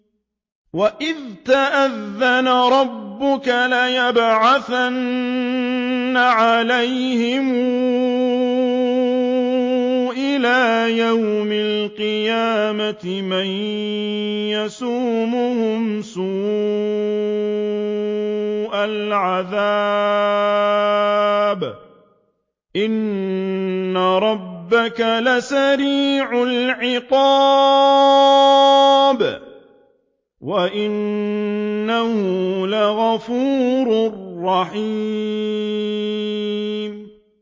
وَإِذْ تَأَذَّنَ رَبُّكَ لَيَبْعَثَنَّ عَلَيْهِمْ إِلَىٰ يَوْمِ الْقِيَامَةِ مَن يَسُومُهُمْ سُوءَ الْعَذَابِ ۗ إِنَّ رَبَّكَ لَسَرِيعُ الْعِقَابِ ۖ وَإِنَّهُ لَغَفُورٌ رَّحِيمٌ